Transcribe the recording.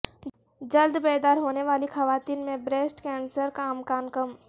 جلد بیدار ہونے والی خواتین میں بریسٹ کینسرکا امکان کم